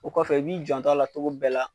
O kɔfɛ , i b'i janto a la cogo bɛɛ la